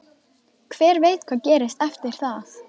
Hver veit hvað gerist eftir það?